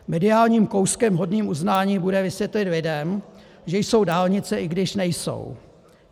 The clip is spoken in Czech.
Mediálním kouskem hodným uznání bude vysvětlit lidem, že jsou dálnice, i když nejsou.